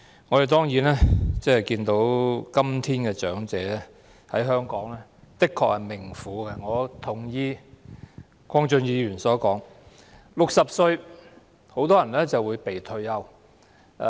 我們當然看到，今天長者在香港的確是命苦的，我認同鄺俊宇議員所說，很多人到60歲便會"被退休"。